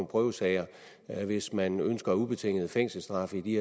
prøvesager hvis man ønsker ubetinget fængselsstraf i de